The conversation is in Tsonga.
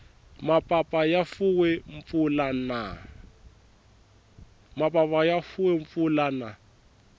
mapapa ya fuwe mpfula na